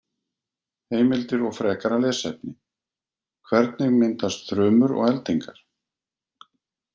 Heimildir og frekara lesefni: Hvernig myndast þrumur og eldingar?